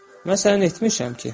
Mən səni neyləmişəm ki?